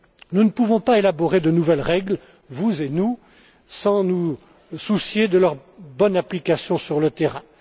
Nous ne pouvons pas élaborer de nouvelles règles, vous et nous, sans nous soucier de leur bonne application sur le terrain.